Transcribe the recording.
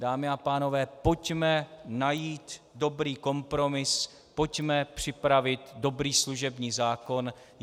Dámy a pánové, pojďme najít dobrý kompromis, pojďme připravit dobrý služební zákon.